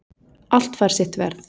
Allt fær sitt verð